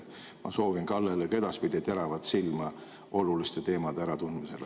Ma soovin Kallele ka edaspidi teravat silma oluliste teemade äratundmisel.